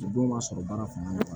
O don ma sɔrɔ baara fanga la